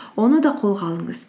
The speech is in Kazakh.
оны да қолға алыңыз